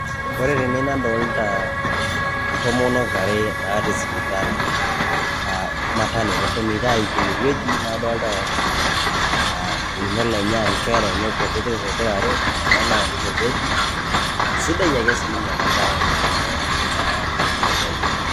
Ore tene nadolita ntomonok are natii sipitali aa maternity aa eshomoito aiki ine wueji. Adolita nkera enye naa sidai ake sininye ena bae tene naa